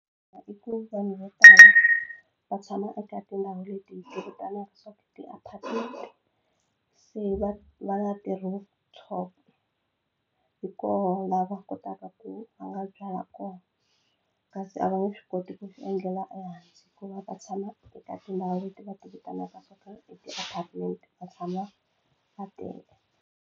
I ku vanhu vo tala va tshama eka tindhawu leti hi ti vitanaka swa ti-apartment se va va na ti-rooftop hi kona la va kotaka ku va nga byala kona kasi a va nge swi koti ku swi endlela ehansi hikuva va tshama eka tindhawu leti va ti vitanaka swa ku i ti-apartment va tshama va tele.